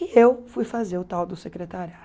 E eu fui fazer o tal do secretariado.